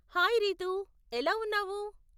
Hi Ritu, ఎలా ఉన్నావు?